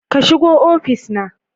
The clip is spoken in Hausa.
Ka shigo ofis na.